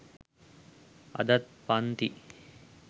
අදත් පන්ති